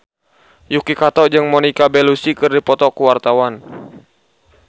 Yuki Kato jeung Monica Belluci keur dipoto ku wartawan